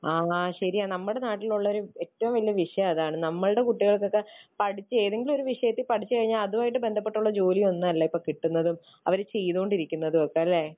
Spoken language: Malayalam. ആ ശരിയാ നമ്മുടെ നാട്ടിലുള്ള ഒരു ഏറ്റവും വലിയ വിഷയം അതാണ്. നമ്മുടെ കുട്ടികൾക്കൊക്കെ പഠിച്ച ഏതെങ്കിലും ഒരു വിഷയത്തിൽ പഠിച്ചു കഴിഞ്ഞാൽ അതുമായി ബന്ധപ്പെട്ടുള്ള ജോലി ഒന്നുമല്ല ഇപ്പോൾ കിട്ടുന്നതും അവർ ചെയ്തുകൊണ്ടിരിക്കുന്നതും ഒക്കെ. അല്ലേ?